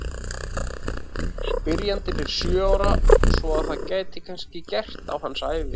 Spyrjandinn er sjö ára svo að þetta gæti kannski gerst á hans ævi!